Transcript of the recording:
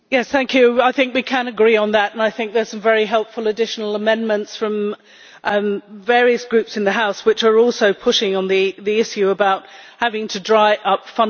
I think we can agree on that, and I think there are some very helpful additional amendments from various Groups in the House which are also pushing on the issue of having to dry up funding.